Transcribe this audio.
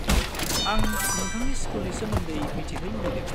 आं नोंथांनि स्कुलनि सोमोन्दै मिथिनो लुगैदों।